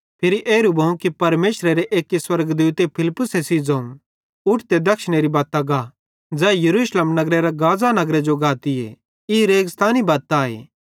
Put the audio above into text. फिरी एरू भोवं कि परमेशरे एक्की स्वर्गदूते फिलिप्पुसे सेइं ज़ोवं उठ ते दक्षिणेरे बत्तां गा ज़ै यरूशलेम नगरेरां गाज़ा नगरे जो गातीए ई रेगिस्तानी बत्त आए